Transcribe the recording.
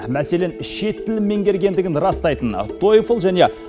мәселен шет тілін меңгергендігін растайтын тойфл және